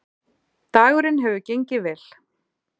Dagurinn hefur gengið vel